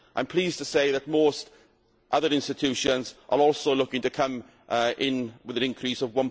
I am pleased to say that most other institutions are also looking to come in with an increase of